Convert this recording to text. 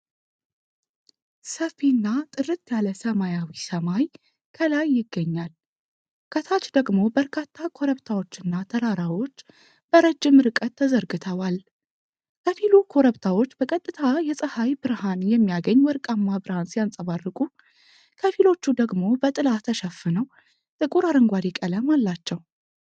ሰፊና ጥርት ያለ ሰማያዊ ሰማይ ከላይ ይገኛል። ከታች ደግሞ በርካታ ኮረብታዎችና ተራራዎች በረጅም ርቀት ተዘርግተዋል። ከፊሉ ኮረብታዎች በቀጥታ የፀሐይ ብርሃን የሚያገኝ ወርቃማ ብርሃን ሲያንፀባርቁ፣ ከፊሎቹ ደግሞ በጥላ ተሸፍነው ጥቁር አረንጓዴ ቀለም አላቸው።